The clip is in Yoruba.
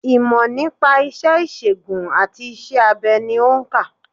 Ìmò nípa isé ìsègùn àti isé abe ni o nkà